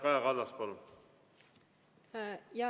Kaja Kallas, palun!